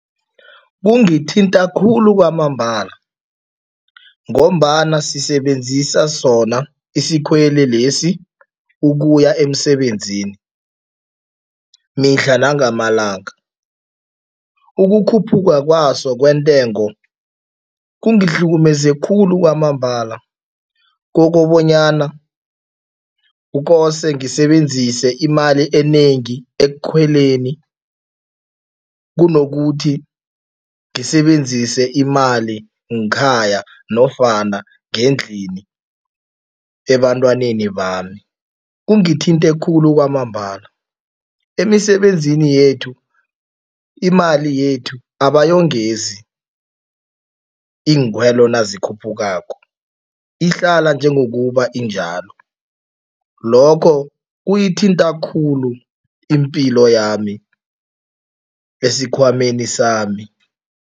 Kungithinta khulu kwamambala ngombana sisebenzisa sona isikhweli lesi ukuya emsebenzini mihla nangamalanga. Ukukhuphuka kwaso kwentengo, kungihlukumeze khulu kwamambala kokobonyana kukose ngisebenzise imali enengi ekukhweleni kunokuthi ngisebenzise imali ngekhaya nofana ngendlini ebantwaneni bami, kungithinte khulu kwamambala. Emisebenzini yethu imali yethu abayongezi iinkhwelo nazikhuphukako, ihlala njengokuba injalo. Lokho kuyithinta khulu impilo yami esikhwameni sami.